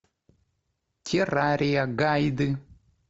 террария гайды